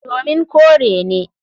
Domin kore ne.